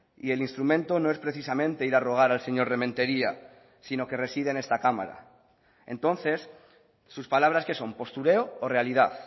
y el instrumento no es precisamente ir a rogar al señor rementeria sino que reside en esta cámara entonces sus palabras qué son postureo o realidad